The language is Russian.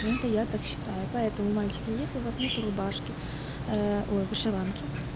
это я так считаю поэтому мальчики если у вас нет рубашки ой вышиванки